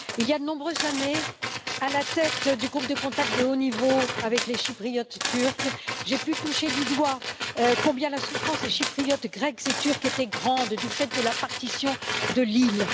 Il y a de nombreuses années, à la tête du groupe de contact de haut niveau avec les Chypriotes turcs, j'ai pu toucher du doigt combien la souffrance des Chypriotes grecs et turcs était grande du fait de la partition de l'île.